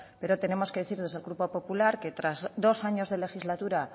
pero tenemos que decir desde el grupo popular que tras dos años de legislatura